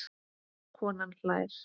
Konan hlær.